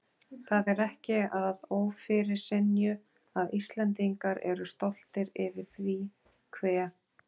Það er ekki að ófyrirsynju að Íslendingar eru stoltir yfir því hve